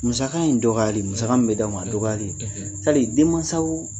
Musaka in dɔgɔyali musaka min bɛ d'aw ma o dɔgɔyali tari denmansaw